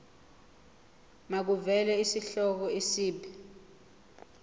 makuvele isihloko isib